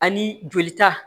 Ani jolita